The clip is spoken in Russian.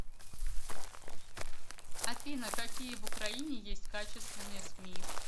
афина какие в украине есть качественные сми